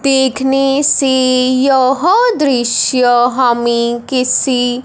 देखने से यह दृश्य हमें किसी--